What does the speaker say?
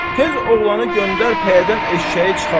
Tez oğlanı göndər pəyədən eşşəyi çıxartsın.